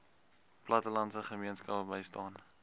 plattelandse gemeenskappe bystaan